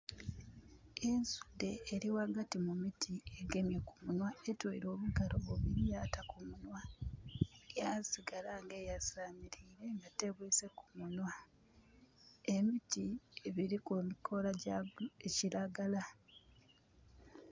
Ensudhe eri ghagati mu miti egemye ku munhwa. Etweire obugalo bubiri yata ku munhwa yasigala nga eyasamirire nga tebwise ku munwa. Emiti gyiliku amakola ga kiragala.